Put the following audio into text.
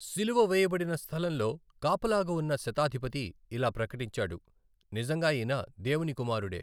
శిలువ వేయబడిన స్థలంలో కాపలాగా ఉన్న శతాధిపతి ఇలా ప్రకటించాడు, నిజంగా ఈయన దేవుని కుమారుడే !